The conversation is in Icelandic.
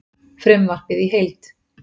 Frumvarpið í heild